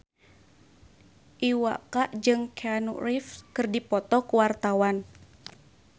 Iwa K jeung Keanu Reeves keur dipoto ku wartawan